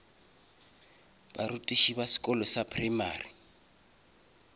barutiši ba sekolo sa primary